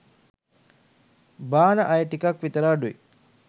බාන අය ටිකක් විතර අඩුයි.